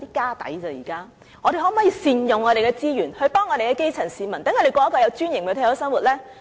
那麼，我們可否善用資源，幫助我們的層基市民，讓他們過着有尊嚴的退休生活呢？